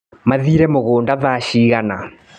Mathire mũgũnda thaa cigana.